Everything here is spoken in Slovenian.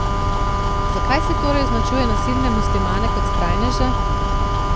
Zakaj se torej označuje nasilne muslimane kot skrajneže?